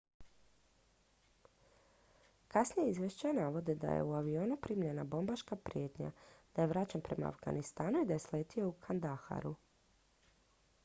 kasnija izvješća navode da je u avionu primljena bombaška prijetnja da je vraćen prema afganistanu i da je sletio u kandaharu